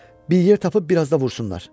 Bir yer tapıb bir az da vursunlar.